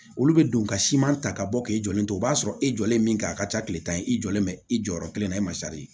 Olu bɛ don ka siman ta ka bɔ k'e jɔlen to o b'a sɔrɔ e jɔlen min kɛ a ka ca tile tan ye i jɔlen bɛ i jɔyɔrɔ kelen na i ma